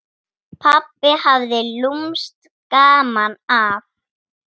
Pabbi hafði lúmskt gaman af.